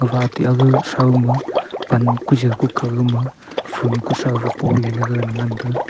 wateh age throuma pan kujow kukaw gama phool kushou poleley ngan taiga.